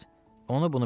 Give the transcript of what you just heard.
Qərəz, onu-bunu bilmirəm.